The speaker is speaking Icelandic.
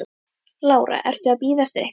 Lára: Ertu að bíða eftir einhverri?